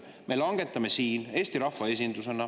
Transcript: Me langetame siin Eesti rahvaesindusena.